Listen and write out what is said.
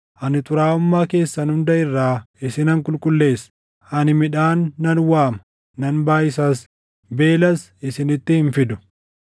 Ani xuraaʼummaa keessan hunda irraa isinan qulqulleessa. Ani midhaan nan waama; nan baayʼisas; beelas isinitti hin fidu.